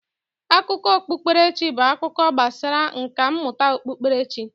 Akụkọ okpukperechi bụ akụkọ gbasara nka mmụta okpukperechi.